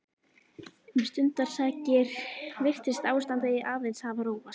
Um stundarsakir virtist ástandið aðeins hafa róast.